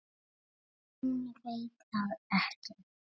Hún veit það ekki.